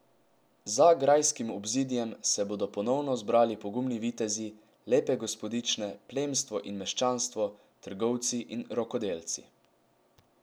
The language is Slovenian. Za grajskim obzidjem se bodo ponovno zbrali pogumni vitezi, lepe gospodične, plemstvo in meščanstvo, trgovci in rokodelci.